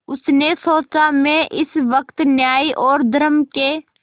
उसने सोचा मैं इस वक्त न्याय और धर्म के